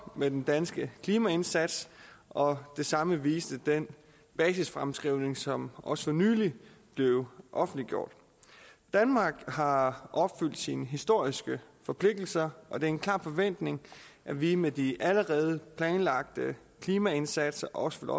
med den danske klimaindsats og det samme viste den basisfremskrivning som også for nylig blev offentliggjort danmark har opfyldt sine historiske forpligtelser og det er en klar forventning at vi med de allerede planlagte klimaindsatser også